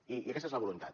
i aquesta és la voluntat